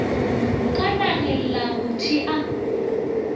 ka nageng la go thea